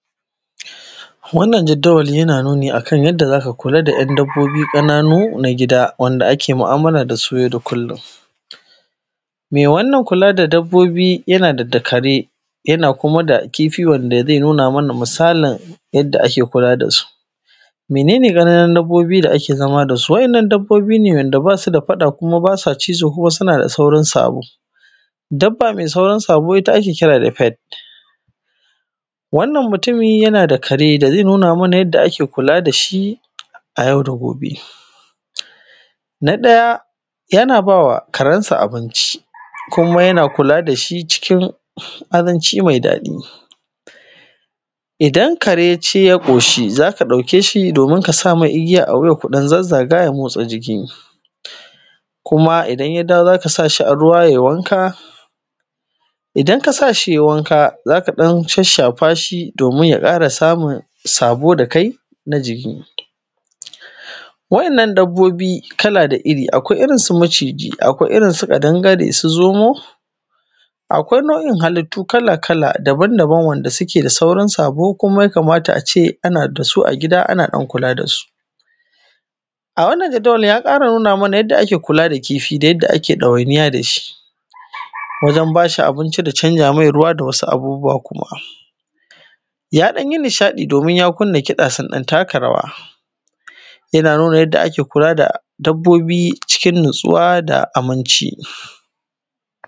wannan jaddawali yana nuni a kan yanda za ka kula da ‘yan dabbobi ƙananu na gida wanda ake mu’amala da su yau da kullun mai wannan kula da dabbobi yana da dakare yana kuma da kifi wanda zai nuna mana misalin yadda ake ku:a da su mene ne ƙananun dabbobi da ake zama da su wa’innan dabbobi wanda ba su da faɗa kuma ba sa cizo kuma suna da saurin sabo dabba mai saurin sabo ita ake kira da faith wannan mu:tumi yana da kare da zai nuna mana yadda ake kula da shi a yau da gobe na ɗaya yana bawa karansa abinci kuma yana kula da shi cikin azanci mai daɗi idan kare yaci y a ƙoshi za ka ɗauke shi domin ka sa mai igiya a wuya domin ku ɗan zazzaga ya dan motsa jiki kuma idan ya dawo za ka sa shii a ruwa ya danyi wanka idan ka sa shi yayi wanka zaka ɗan shasshafa shii domin ja ƙara samun sabo da kai na jiki wa’inan dabbobi kala da iri akwai irin su maciji akwai irin su ƙadangare su zomo akwai nau’in halittu kala kala daban daban wanda suke da saurin sabo kuma ya kamata a ce a na da su a gida ana ɗan kula da su a wannan jaddawalin ya ƙara nuna mana yanda ake ka kula da kifi da yadda ake ɗawainiya da shi wajan ba shi abinci da canza mai ruwa da wasu abubuwa kuma ya ɗan yi ni shaɗi domin ya kunna kiɗa sun ɗan taka rawa ya nuna yadda ake kula da dabbobi cikin natsuwa da aminci